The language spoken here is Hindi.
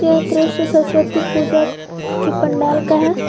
यह दृश्य सरस्वती पूजा की पंडाल का है।